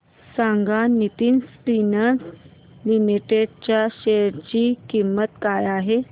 सांगा Nitin spinners limited च्या share ची किंमत काय आहे